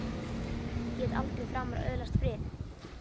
Ég get aldrei framar öðlast frið!